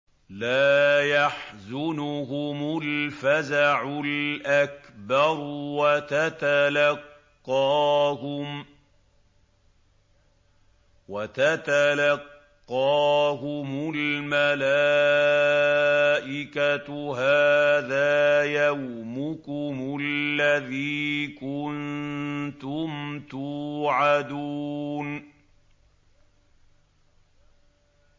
لَا يَحْزُنُهُمُ الْفَزَعُ الْأَكْبَرُ وَتَتَلَقَّاهُمُ الْمَلَائِكَةُ هَٰذَا يَوْمُكُمُ الَّذِي كُنتُمْ تُوعَدُونَ